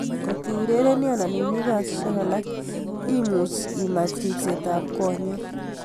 Kotiurereni anan imii kasishek alak much imach ripset ap konyek.